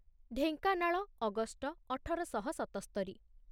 Dhenkanal August ଅଠର ଶହ ସତସ୍ତରିରେ